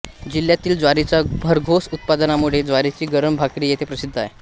जिल्ह्यातील ज्वारीच्या भरघोस उत्पादनामुळे ज्वारीची गरम भाकरी येथे प्रसिद्ध आहे